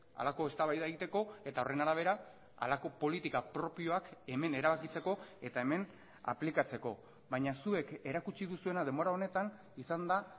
halako eztabaida egiteko eta horren arabera halako politika propioak hemen erabakitzeko eta hemen aplikatzeko baina zuek erakutsi duzuena denbora honetan izan da